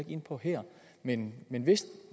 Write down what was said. ind på her men men hvis